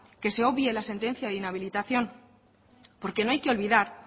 que se obvie la sentencia de inhabilitación porque no hay que olvidar